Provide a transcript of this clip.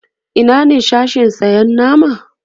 Ina ne Sashen sayan nama?